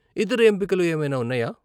ఇతర ఎంపికలు ఏమైనా ఉన్నాయా ?